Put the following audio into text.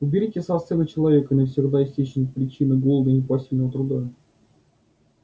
уберите со сцены человека и навсегда исчезнет причина голода и непосильного труда